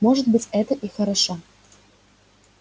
может быть это и хорошо